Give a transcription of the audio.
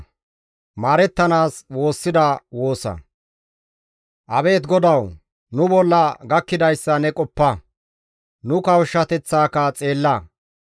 Abeet GODAWU! Nu bolla gakkidayssa ne qoppa; nu kawushshateththaka xeella.